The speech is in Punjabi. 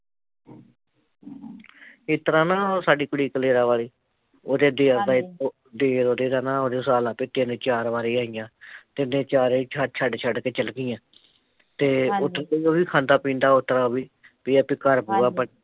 ਏਸਤਰਾਂ ਨਾ ਸਾਡੀ ਕੁੜੀ ਕਲੇਰਾਂ ਵਾਲੀ ਉਹਦੇ ਦੇਰ ਦਾ ਦੇਰ ਉਹਦੇ ਦਾ ਨਾ ਹਿਸਾਬ ਲਾਲਾ ਤੂੰ ਵੀ ਤਿੰਨ ਚਾਰ ਵਾਰ ਆਈਆ, ਤਿਨੈ ਚਾਰੇ ਛੱਡ ਛੱਡ ਕੇ ਚੱਲ ਗਈਆ ਤੇ ਉਤੋਂ ਉਹ ਵੀ ਖਾਂਦਾ ਪੀਂਦਾ ਓਸਤਰਾਂ ਵੀ ਵੀ ਏਹ ਐ ਵੀ ਘਰ ਪੂਰਾ ਬਣਿਆ